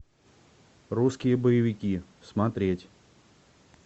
русские боевики смотреть